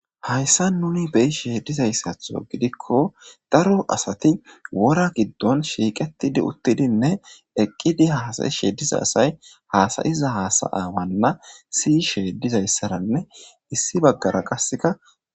hayssa nuni beyi sheedizayssatho gidikko daro asati wora giddon shiiqetidi uttidinne eqqidi haasayi sheediza asay haasayiza hasayawanna siy sheedizayssaranne issi baggara qaseka